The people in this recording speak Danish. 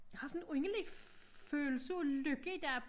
Jeg har sådan en underlig følelse af lykke i dag